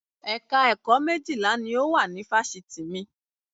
Ẹ̀ka ẹ̀kọ́ méjìlá ni ó wà ní Fáṣítì mi